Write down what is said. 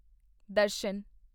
ਦਰਸ਼ਨ